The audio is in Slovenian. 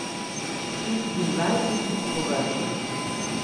Šestindvajsetič po vrsti.